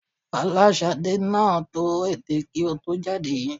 Fọláṣadé náà tọ́ ètè kí ó tó jáde